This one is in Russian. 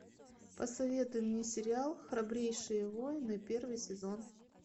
посоветуй мне сериал храбрейшие воины первый сезон